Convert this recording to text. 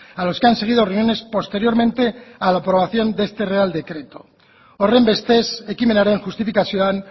a los que han seguido reuniones posteriormente a la aprobación de este real decreto horrenbestez ekimenaren justifikazioan